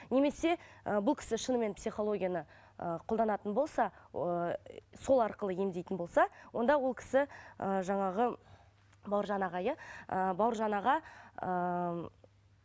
немесе ы бұл кісі шынымен психологияны ы қолданатын болса ыыы сол арқылы емдейтін болса онда ол кісі ы жаңағы бауыржан аға иә ы бауыржан аға ыыы